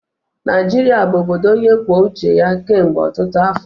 Naijiria bụ obodo onye kwuo uche ya kemgbe ọtụtụ afọ.